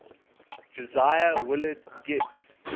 josiah willard gibbs